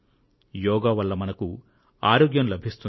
యోగా వల్ల మనకు ఆరోగ్యం లభిస్తుంది